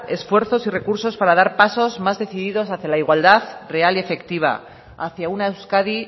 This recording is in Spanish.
esfuerzos y recursos para dar pasos más decididos hacia la igualdad real y efectiva hacia una euskadi